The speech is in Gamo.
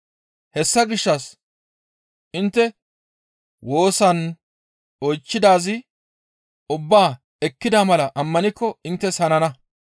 Hessa gishshas intte woosan oychchidaaz ubbaa ekkida mala ammanikko inttes hanana.